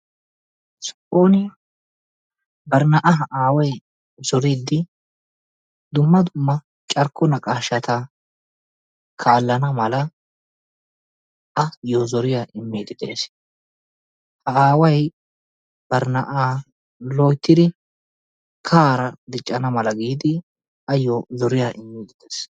Soon bari na'aa aaway zooriidi dumma dumma carkko naqaashshata kaallana mala ayoo zoriyaa immiidi de'ees. Ha aaway bari na'aa loyttidi kahaara diiccana mala giidi ayoo zoriyaa immiidi de'ees.